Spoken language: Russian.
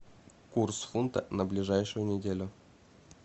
курс фунта на ближайшую неделю